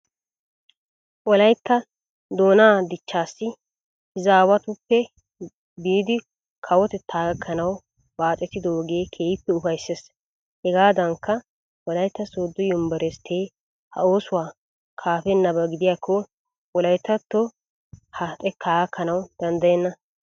Wolaytta doonaa dichchaassi izaawatuppe biidi kawotettaa gakkanawu baaxetidoogee keehippe ufayssees. Hegaadankka wolaytta sooddo yunveresttee ha oosuwa kaafennaba gidiyakko wolayttattoy ha xekkaa gakkanawu danddayenna.